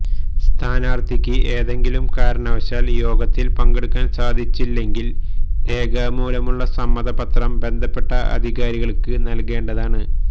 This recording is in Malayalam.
സ്ഥാനാര്ത്ഥിക്ക് ഏതെങ്കിലും കാരണവശാല് യോഗത്തില് പങ്കെടുക്കാന് സാധിച്ചില്ലെങ്കില് രേഖാമൂലമുള്ള സമ്മതപത്രം ബന്ധപ്പെട്ട അധികാരികള്ക്ക് നല്കേണ്ടതാണ്